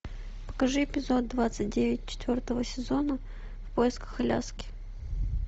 покажи эпизод двадцать девять четвертого сезона в поисках аляски